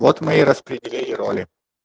вот мы и распределили роли